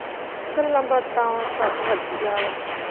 ਗੱਲਾਂ ਬਾਤਾਂ ਸਬ ਵਧੀਆ ਵਾ।